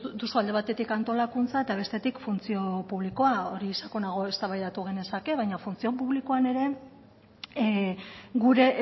duzu alde batetik antolakuntza eta bestetik funtzio publikoa hori sakonago eztabaida genezake baina funtzio publikoan ere gure